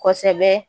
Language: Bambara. Kosɛbɛ